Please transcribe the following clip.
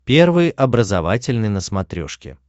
первый образовательный на смотрешке